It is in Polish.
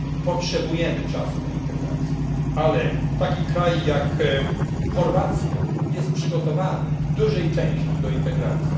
Potrzebujemy czasu na integrację, ale taki kraj jak Chorwacja jest przygotowany w dużej części do integracji.